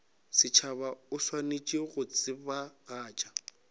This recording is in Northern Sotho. setšhaba o swanetše go tsebagatša